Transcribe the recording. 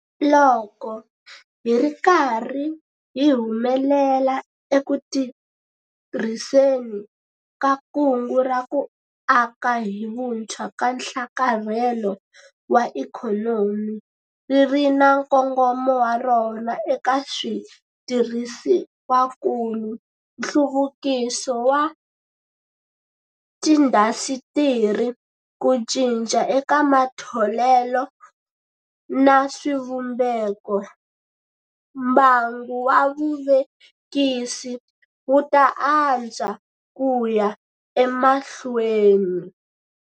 Loko hi ri karhi hi humelela eku tirhiseni ka Kungu ra ku Aka hi Vutshwa na Nhlakarhelo wa Ikhonomi, ri ri na nkongomo wa rona eka switirhisiwakulu, nhluvukiso wa tiindasitiri, ku cinca eka matholelo na swivumbeko, mbangu wa vuvekisi wu ta antswa ku ya emahlweni.